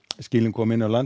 skilin komin yfir landið